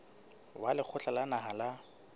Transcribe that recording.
wa lekgotla la naha la